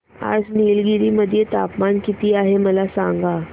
आज निलगिरी मध्ये तापमान किती आहे मला सांगा